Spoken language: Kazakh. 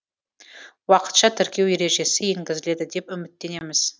уақытша тіркеу ережесі енгізіледі деп үміттенеміз